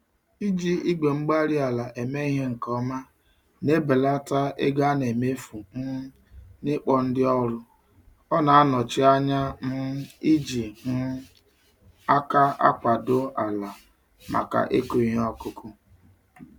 Iji igwe-mgbárí-ala eme ihe nke ọma na-ebelata ego anemefu um n'ịkpọ ndị ọrụ, ọna anọchi ányá um iji um àkà akwado ala màkà ịkụ ìhè okụkụ